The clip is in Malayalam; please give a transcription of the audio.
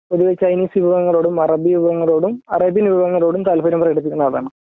പൊതുവേ ഈ ചൈനീസ് വിഭവങ്ങളോടും അറബി വിഭവങ്ങളോടും അറേബ്യൻ വിഭവങ്ങളോടും താല്‌പര്യം പ്രകടിപ്പിക്കുന്ന ആളാണ്